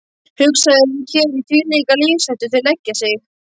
Hugsaðu þér í hvílíka lífshættu þau leggja sig.